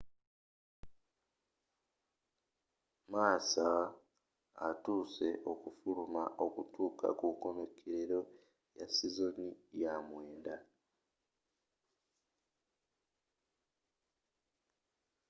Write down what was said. massa atuuse okufuluma okutuuka ku nkomekerero ya sizooni ya 2009